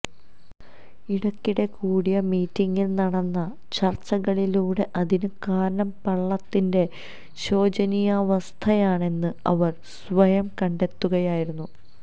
ഇടക്കിടെ കൂടിയ മീറ്റിംഗുകളില് നടന്ന ചര്ച്ചകളിലൂടെ അതിന് കാരണം പള്ളത്തിന്റെ ശോചനീയാവസ്ഥയാണെന്ന് അവര് സ്വയം കണ്ടെത്തുകയായിരുന്നു